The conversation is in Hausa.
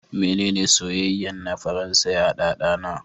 Menene soyayyen na Faransa ya ɗanɗana?